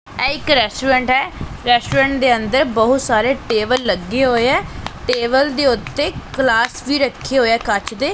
ਇਹ ਇੱਕ ਰੈਸਟੋਰੈਂਟ ਏ ਰੈਸਟੋਰੈਂਟ ਦੇ ਅੰਦਰ ਬਹੁਤ ਸਾਰੇ ਟੇਬਲ ਲੱਗੇ ਹੋਏ ਐ ਟੇਬਲ ਦੇ ਉੱਤੇ ਗਲਾਸ ਵੀ ਰੱਖਿਆ ਹੋਇਆ ਕੱਚ ਦੇ।